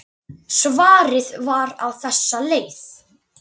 Svarið var á þessa leið